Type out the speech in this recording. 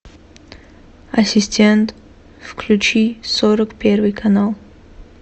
ассистент включи сорок первый канал